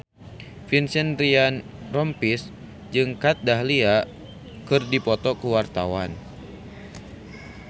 Vincent Ryan Rompies jeung Kat Dahlia keur dipoto ku wartawan